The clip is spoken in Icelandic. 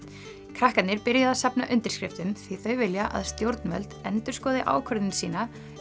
krakkarnir byrjuðu að safna undirskriftum því þau vilja að stjórnvöld endurskoði ákvörðun sína